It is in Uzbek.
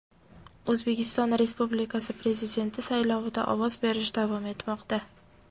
O‘zbekiston Respublikasi Prezidenti saylovida ovoz berish davom etmoqda.